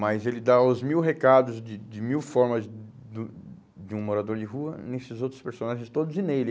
Mas ele dá os mil recados de de mil formas do de um morador de rua nesses outros personagens todos e nele.